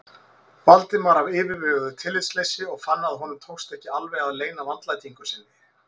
Valdimar af yfirveguðu tillitsleysi og fann að honum tókst ekki alveg að leyna vandlætingu sinni.